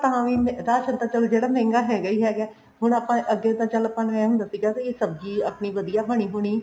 ਤਾਵੀਂ ਰਾਸ਼ਨ ਤਾਂ ਚੱਲ ਮਹਿੰਗਾ ਜਿਹੜਾ ਹੈਗਾ ਹੀ ਹੈਗਾ ਹੈ ਹੁਣ ਚੱਲ ਅੱਗੇ ਤਾਂ ਚੱਲ ਆਪਾਂ ਨੂੰ ਐਂ ਹੁੰਦਾ ਸੀ ਵੀ ਸਬਜੀ ਆਪਣੀ ਵਧੀਆ ਬਣੀ ਬੁਣੀ